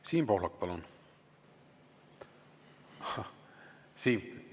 Siim Pohlak, palun!